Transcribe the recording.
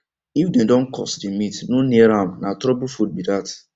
if dem don curse the meat no near amna trouble food be that